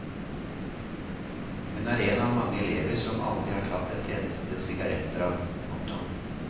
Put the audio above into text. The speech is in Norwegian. Hun er en av mange elever som aldri har tatt et eneste sigarettdrag. punktum